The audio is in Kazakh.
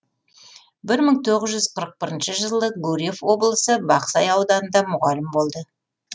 бір мың тоғыз жүз қырық бірінші жылы гурьев облысы бақсай ауданында мұғалім болды